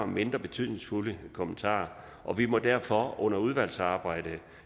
mindre betydningsfulde kommentarer og vi må derfor under udvalgsarbejdet